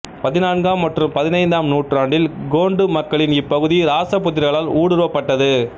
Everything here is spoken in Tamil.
பதினான்காம் மற்றும் பதினைந்தாம் நூற்றாண்டில் கோண்டு மக்களின் இப்பகுதி ராசபுத்திரர்களால் ஊடுருவப்பட்டது